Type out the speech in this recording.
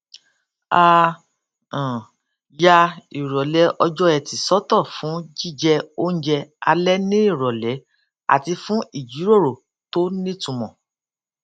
a um ya ìròlé ọjọ ẹti sótò fún jíjẹ oúnjẹ alé ní ìròlé àti fún ìjíròrò tó nítumò